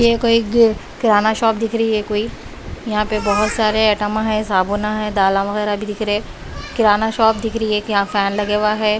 ये कोई एग किराना शॉप दिख रही है कोई यहां पे बहोत सारे एटमा है साबुना है दाला वगैरा भी दिख रहे किराना शॉप दिख रही यहां एक फैन लगा हुआ है।